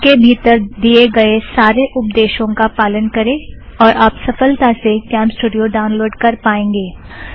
इसके भीतर दिए गए सारे उपदेशों का पालन करें और आप सफ़लता से कॅमस्टूड़ियो ड़ाउनलोड़ कर पाएंगे